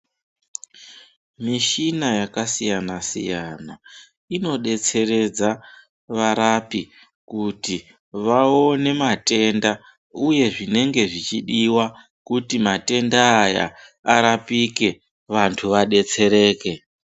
Mishuna yakasiyana siyana inobetseredza varapi kuti vaone matenda uye zvinenge zvinenge zvichidiwa kuti matenda aya arapike vandu vadetsereke.